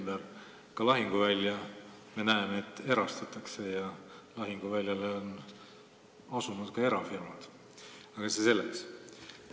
Me näeme, et ka lahinguvälja erastatakse ja et lahinguväljale on asunud erafirmad, aga see selleks.